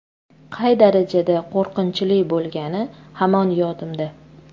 Qay darajada qo‘rqinchli bo‘lgani hamon yodimda.